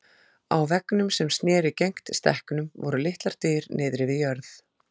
Á veggnum sem sneri gegnt stekknum voru litlar dyr niðri við jörð.